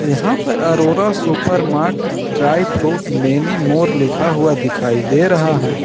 यहां पर Arora supermart dry fruit many more लिखा हुआ दिखाई दे रहा है।